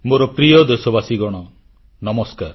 ମୋର ପ୍ରିୟ ଦେଶବାସୀଗଣ ନମସ୍କାର